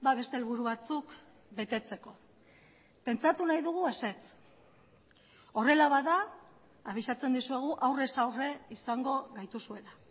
beste helburu batzuk betetzeko pentsatu nahi dugu ezetz horrela bada abisatzen dizuegu aurrez aurre izango gaituzuela